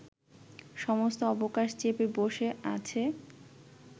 সমস্ত অবকাশ চেপে বসে আছে